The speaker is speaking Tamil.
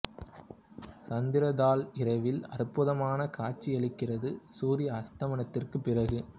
சந்திரா தால் இரவில் அற்புதமான காட்சி அளிக்கிறது சூரிய அஸ்தமனத்திற்குப் பிறகு